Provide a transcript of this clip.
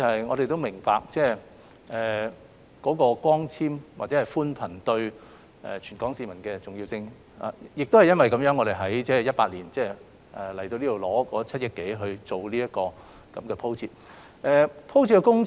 我們明白光纖或寬頻對全港市民的重要性，亦因為如此，我們在2018年向立法會申請7億多元進行光纖鋪設工程。